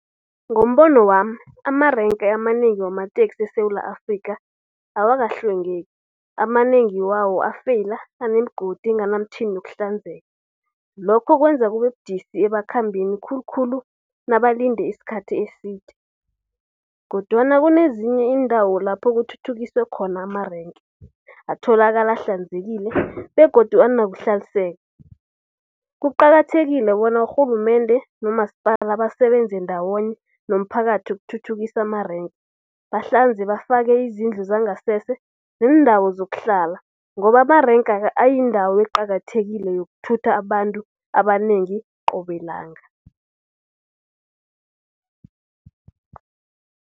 Ngombono wami amarenke amanengi wamateksi eSewula Afrikha, awakahlwengeki. Amanengi wawo afeyila, anemigodi enganamtjhini yokuhlanzeka. Lokho kwenza kube budisi ebakhambini, khulukhulu nabalinde isikhathi eside. Kodwana kunezinye iindawo lapho kuthuthukiswe khona amarenke, atholakala ahlanzekile begodu anokuhlanzeka. Kuqakathekile bona urhulumende nomasipala basebenze ndawonye nomphakathi ukuthuthukisa amarenke. Bahlanze bafake izindlu zangasese neendawo zokuhlala ngoba amarenke ayindawo eqakathekileko yokuthutha abantu abanengi qobe langa.